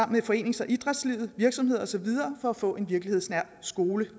forenings og idrætslivet virksomheder og så videre for at få en virkelighedsnær skole